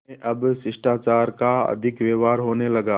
उनमें अब शिष्टाचार का अधिक व्यवहार होने लगा